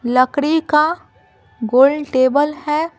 लकड़ी का गोल टेबल है।